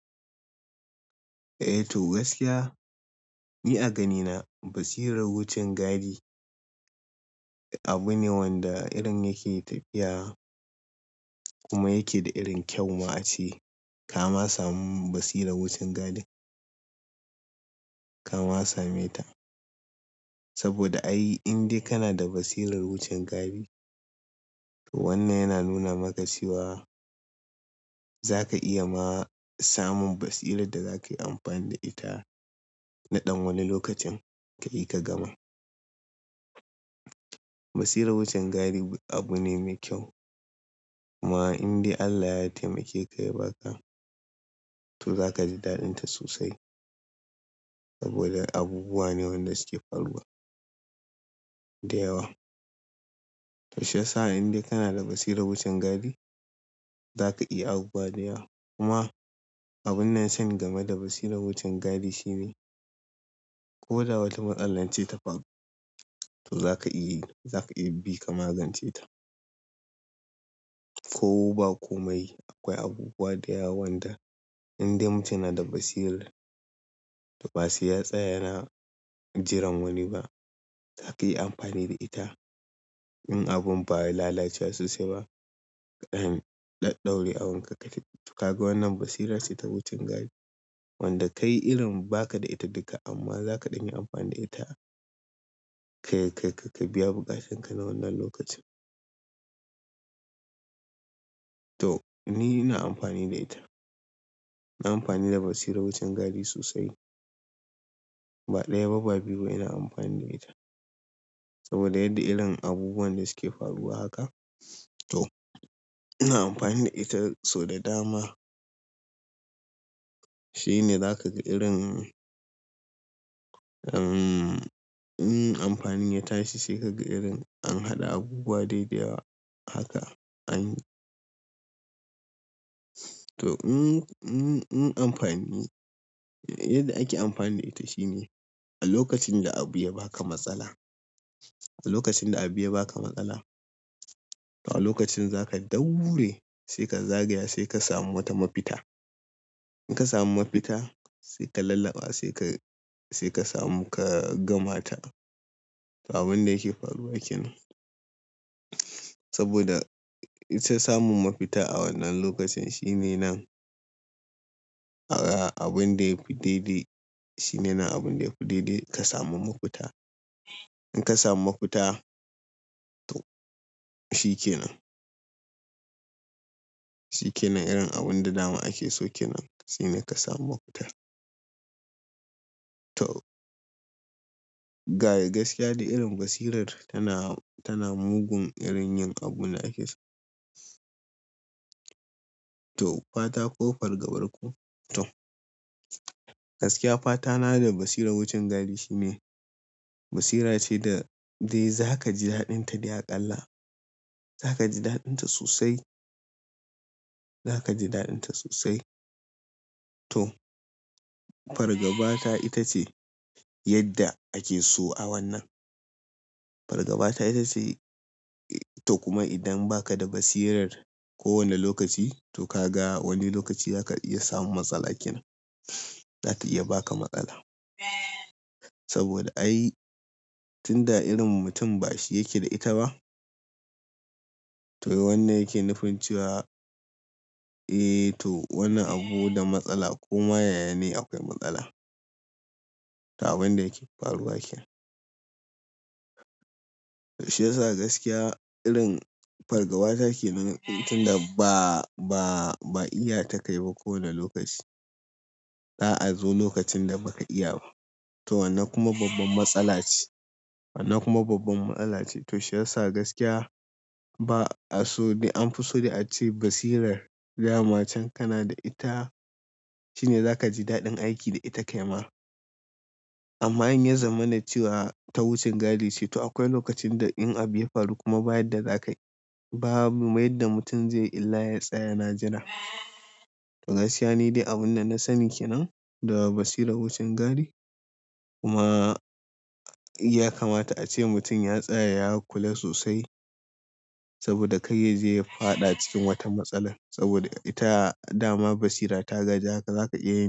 Eh to gaskiya, ni a ganina basirar wucin gadi abu ne wanda irin yake tafiya kuma yake da irin kyau ma a ce. Kama samun basirar wucin gadin, kama same ta. Saboda ai indai kana da basirar wucin gadi, to wannan yana nuna maka cewa za ka iya ma samun basirar da za ka yi amfani da ita naɗan wani lokacin ka yi ka gama. Basirar wucin gadi abu ne mai kyau kuma indai Allah ya taimake ka ya ba ka, to za ka ji daɗin ta sosai saboda abubuwa ne waɗanda suke faruwa da yawa. To shiya indai kana da basirar wucin gadi, za ka iya abubuwa da yawa kuma abun nan shan game da basirar wucin gadi shine ko da wata matsalar ce ta faru, to za ka iya, za ka iya bi ka magance ta. Ko ba ko mai akwai abubuwa da yawa wanda indai mutum yana da basira to ba sai ya tsaya yana jiran wani ba. Za ka yi amfani da ita. In abun baya lalacewa sosai ba, kaɗaɗɗau da wani ka kaje tukaga wannan basirarsa ce ta wucin gadi wanda kai irin ba ka da ita duka amma za kaɗanya amfani da ita ka, ka, ka biya buƙatanka na wannan lokacin. To ni ina amfani da ita. Ina amfani da basirar wucin gadi sosai. Ba ɗaya ba ba biyu ba ina amfani da ita saboda yadda irin abubuwan da suke faruwa haka. To ina amfani da ita, so da dama shine za ka ga irin, umm, in amfanin ya tanashi sai ka ga irin an haɗa abubuwa daidai haka anyi. To in, in, in amfani, yadda ake amfani da ita shine a lokacin da abu ya ba ka matsala, a lokacin da abu ya ba ka matsala. A lokacin za ka ɗaure sai ka zagaya sai ka samu wata mafita. In ka samu mafita sai ka lallaɓa sai ka, sai ka samu ka gama ta. Ta abun da yake faruwa kenan. Saboda ita samun mafita a wannan lokacin shine nan. A ga abin da ya fi daidai shine nan abin da ya fi daidai ka samu mafita. In ka samu mafita to shikenan. Shikenan irin abun da dama ake so kenan shine ka samu mafita. To ga gaskiya dai irin basirar tana, tana mugun irin yin abun da ake so. To fata ko fargabar ku? To gaskiya fatana da basirar wucin gadi shine basira ce da dai zakaji daɗinta dai a ƙalla za ka ji daɗin ta sosai. Za ka ji daɗin ta sosai. To fargabata ita ce yadda ake so a wannan. Fargabata ita ce. To kuma idan ba ka da basirar kowane lokaci to ka ga wani lokaci za ka iya samun matsala kenan. Za ta iya ba ka matsala. Saboda ai tun da irin mutum ba shi yake da ita ba, to wannan yake nufince wa, eh to wannan abu da matsala koma yaya ne akwai matsala. Ta abun da yake faruwa kenan. To shiyasa gaskiya irin fargabata kenan tun da ba, ba, ba iya ta kai ba kowane lokaci. Za'a zo lokacin da ba ka iya ba. To wannan kuma babban matsala ce. Wannan kuma babban matsala ce. To shiyasa gaskiya ba aso, an fi so dai ace basirar dama can kana da ita shine za ka ji daɗin aiki da ita kaima amma in yazamana cewa ta wucin gadi ce. To akwai lokacin da in abu ya faru kuma ba yadda za ka yi, babu ma yadda mutum zai yi illa ya tsaya na jira. To gaskiya ni de abin da nasani kenan daga basirar wucin gadi kuma yakamata ace mutum ya tsaya ya kula sosai saboda kada yaje ya faɗa cikin wata matsalar saboda ita dama basira ta gaji haka zaka iya yin.